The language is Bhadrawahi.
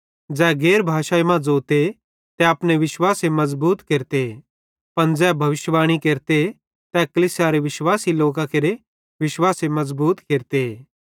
ज़ै गैर भाषाई मां ज़ोते तै अपने विश्वासे मज़बूत केरते पन ज़ै भविष्यिवाणी केरते तै कलीसियारे विश्वासी लोकां केरे विश्वासे मज़बूत केरते